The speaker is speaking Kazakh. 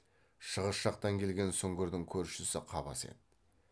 шығыс жақтан келген сүңгірдің көршісі қабас еді